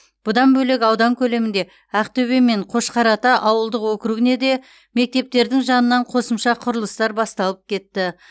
бұдан бөлек аудан көлемінде ақтөбе мен қошқарата ауылдық округіне де мектептердің жанынан қосымша құрылыстар басталып кетті